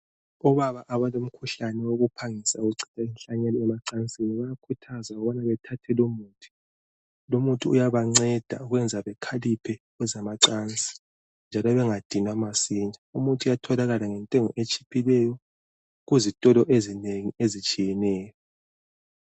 Obaba abalomkhuhlane wokuphangisa ukuchitha inhlanyelo emacansini bayakhuthazwa ukubana bathathe lo umuthi. Lumuthi uyabanceda ukwenza bekhaliphe kwezamacansi njalo bengadinwa masinya. Umuthi uyatholakala ngentengo etshiphileyo kuzitolo ezinengi ezitshiyeneyo.